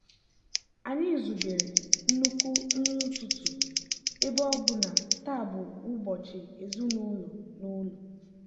anyị zubere nnukwu nri ụtụtụ ebe ọ bụ na taa bụ ụbọchị ezinụlọ n'ụlọ.